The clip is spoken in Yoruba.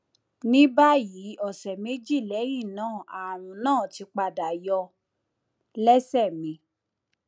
ní báyìí ọsẹ méjì lẹyìn náà ààrùn náà ti padà yọ lẹsẹ mi